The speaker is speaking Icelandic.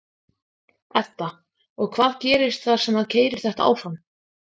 Edda: Og hvað gerist þar sem að keyrir þetta áfram?